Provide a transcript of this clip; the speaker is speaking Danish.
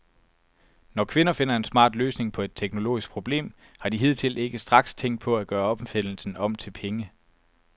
Når kvinder finder en smart løsning på et teknologisk problem, har de hidtil ikke straks tænkt på at gøre opfindelsen om til penge.